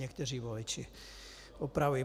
Někteří voliči, opravuji.